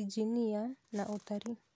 injinia, na ũtari.